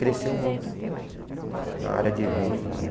Cresceu muito na área de eventos lá, né?